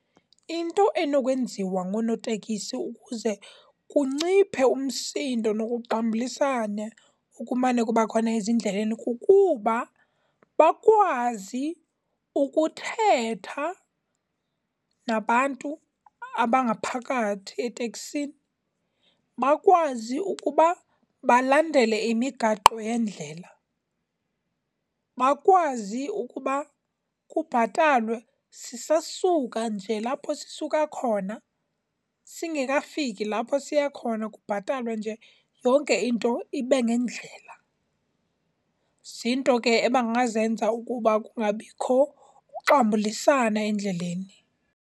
Into enokwenziwa ngonootekisi ukuze kunciphe umsindo nokuxambulisana okumane kuba khona ezindleleni kukuba bakwazi ukuthetha nabantu abangaphakathi eteksini, bakwazi ukuba balandele imigaqo yendlela. Bakwazi ukuba kubhatalwe sisesuka nje lapho sisuka khona, singekafiki lapho siya khona, kubhatalwe nje. Yonke into ibe ngendlela. Ziinto ke abangazenza ukuba kungabikho kuxambulisana endleleni.